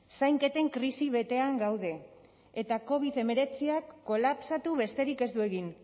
zainketen krisi betean gaude eta covid hemeretziak kolapsatu besterik ez du egin